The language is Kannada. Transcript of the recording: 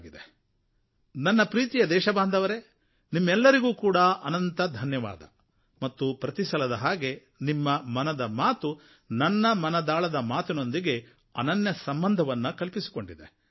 ನನ್ನ ಪ್ರೀತಿಯ ದೇಶಬಾಂಧವರೇ ಪಂಚಾಯತ್ ರಾಜ್ ದಿನದ ಮಹತ್ವದ ಸಂದರ್ಭದಲ್ಲಿ ನಿಮ್ಮೆಲ್ಲರಿಗೂ ಅನಂತ ಧನ್ಯವಾದ ಮತ್ತು ಪ್ರತಿಸಲದ ಹಾಗೆ ನಿಮ್ಮ ಮನದ ಮಾತು ನನ್ನ ಮನದಾಳದ ಮಾತಿನೊಂದಿಗೆ ಅನನ್ಯ ಸಂಬಂಧವನ್ನು ಕಲ್ಪಿಸಿಕೊಂಡಿದೆ